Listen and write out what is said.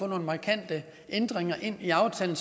nogle markante ændringer ind i aftalen